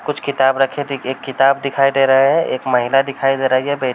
कुछ किताब रखे थे। एक किताब दिखाई दे रहा है। एक महिला दिखाई दे रही है। बै --